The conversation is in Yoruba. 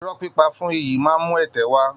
Irọ́ pípa fún iyì máa ń mú ẹ̀tẹ́ wá